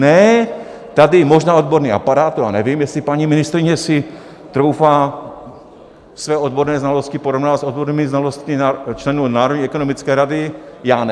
Ne, tady možná odborný aparát, to já nevím, jestli paní ministryně si troufá své odborné znalosti porovnávat s odbornými znalostmi členů Národní ekonomické rady, já ne.